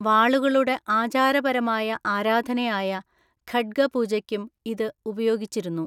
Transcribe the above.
വാളുകളുടെ ആചാരപരമായ ആരാധനയായ ഖഡ്ഗ പൂജയ്ക്കും ഇത് ഉപയോഗിച്ചിരുന്നു.